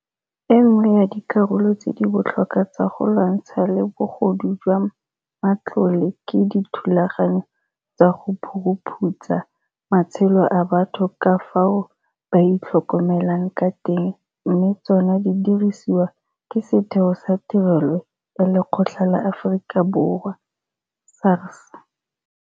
E nngwe ya dikarolo tse di botlhokwa tsa go lwantshana le bogodu jwa matlole ke dithulaganyo tsa go phuruphutsa matshelo a batho ka fao ba itlhokomelang ka teng mme tsona di diriswa ke Setheo sa Tirelo ya Lekgetho la Aforika Borwa, SARS.